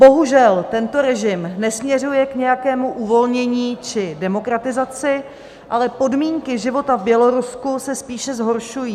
Bohužel tento režim nesměřuje k nějakému uvolnění či demokratizaci, ale podmínky života v Bělorusku se spíše zhoršují.